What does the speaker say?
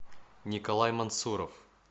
николай мансуров